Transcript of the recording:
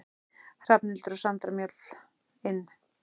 Hrafnhildur og Sandra Mjöll: Inn?